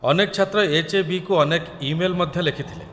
ଅନେକ ଛାତ୍ର ଏଚ୍.ଏ.ବି.କୁ ଅନେକ ଇମେଲ୍‌ ମଧ୍ୟ ଲେଖିଥିଲେ